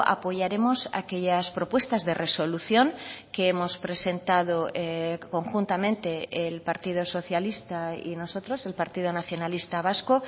apoyaremos aquellas propuestas de resolución que hemos presentado conjuntamente el partido socialista y nosotros el partido nacionalista vasco